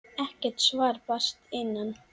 Ekkert svar barst að innan.